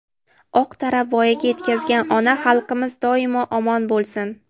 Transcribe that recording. oq tarab voyaga yetkazgan ona xalqimiz doimo omon bo‘lsin!.